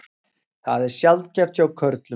Það er sjaldgæft hjá körlum.